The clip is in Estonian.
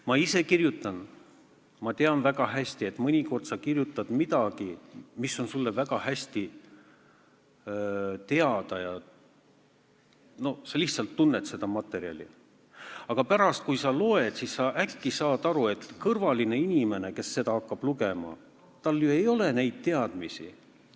Ma ise kirjutan ja tean väga hästi, et mõnikord sa kirjutad millestki, mis on sulle endale väga hästi teada – no sa lihtsalt tunned seda materjali –, aga pärast uuesti läbi lugedes saad äkki aru, et kõrvalisel inimesel, kes hakkab seda lugema, ei ole ju neidsamu teadmisi.